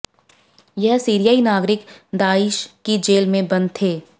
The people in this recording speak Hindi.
यह सीरियाई नागरिक दाइश की जेल में बंद थे